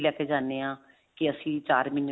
ਵੀ ਲੈਕੇ ਜਾਨੇ ਹਾਂ ਕੀ ਅਸੀਂ ਚਾਰ ਮਹੀਨੇ